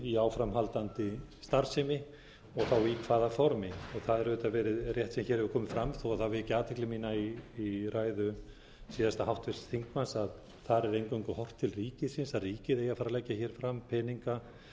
í áframhaldandi starfsemi og í hvaða formi það er auðvitað verið er rétt sem hér hefur komið fram þó það veki athygli mína í ræðu síðasta háttvirts þingmanns að þar er eingöngu horft til ríkisins að ríkið eigi að fara að leggja hér fram peninga